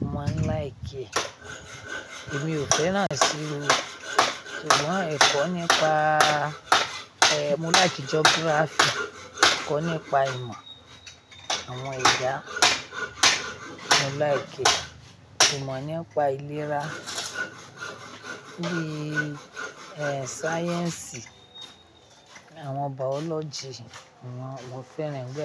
mo maa n like. Èmi ò fẹ́ràn sí ìwé, ṣùgbọ́n ẹ̀kọ́ nípa, e, mo like geography, ẹ̀kọ́ nípa ìmọ̀ àwọn ẹ̀dá, mo like. Ìmọ̀ nípa ìlera, bí i, e, sáyẹ́ǹsì, àwọn biology, àwọn, mo fẹ́ràn gbogbo.